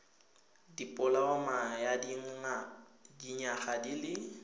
dipoloma ya dinyaga di le